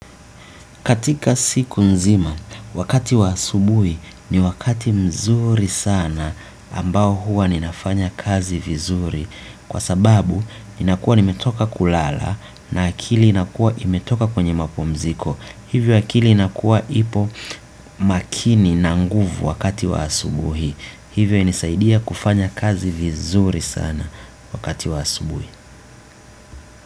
Katika siku nzima, wakati wa asubuhi ni wakati mzuri sana ambao huwa ninafanya kazi vizuri. Kwa sababu, ninakuwa nimetoka kulala na akili inakua imetoka kwenye mapumziko. Hivyo akili inakuwa ipo makini na nguvu wakati wa asubuhi. Hivyo inanisaidia kufanya kazi vizuri sana wakati wa asubuhi.